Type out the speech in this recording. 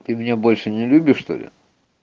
ты меня больше не любишь что-ли